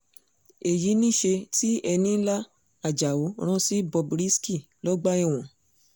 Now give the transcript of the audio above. èyí niṣẹ́ tí enílá àjàò rán sí bob risky lọ́gbà ẹ̀wọ̀n